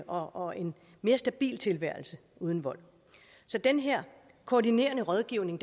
og en mere stabil tilværelse uden vold så den her koordinerende rådgivning